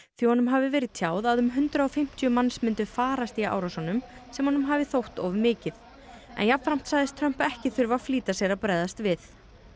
því honum hafi verið tjáð að um hundrað og fimmtíu manns myndu farast í árásunum sem honum hafi þótt of mikið jafnframt sagðist Trump ekki þurfa að flýta sér að bregðast við